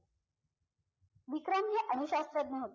विक्रम हे अणुशास्त्रज्ञ होते